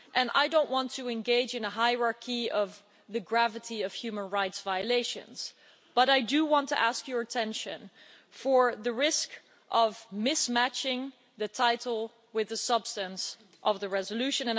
I don't want to engage in a hierarchy of the gravity of human rights violations, but I do want to draw your attention to the risk of mismatching the title with the substance of the resolution.